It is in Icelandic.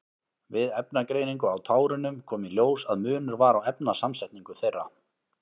Við efnagreiningu á tárunum kom í ljós að munur var á efnasamsetningu þeirra.